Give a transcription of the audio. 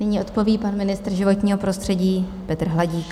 Nyní odpoví pan ministr životního prostředí Petr Hladík.